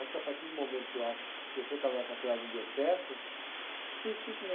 Acho que a partir do momento que eu a, que eu sou casado com a senhora e não deu certo, você tem que ser sincero.